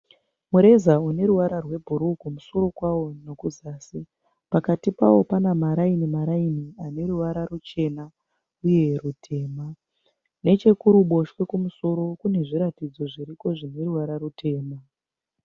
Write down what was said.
Mureza uneruvara rwebhuruwu kumusoro kwawo nekuzasi. Pakati pawo pane mariini maraini aneruvara rwuchena uye rutema. Nechekuruboshwe kumusoro kune zviratidzo zviriko zvineruvara rutema.